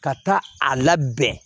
Ka taa a labɛn